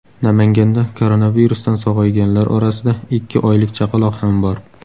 Namanganda koronavirusdan sog‘ayganlar orasida ikki oylik chaqaloq ham bor.